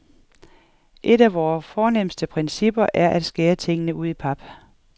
Et af vore fornemste principper er at skære tingene ud i pap.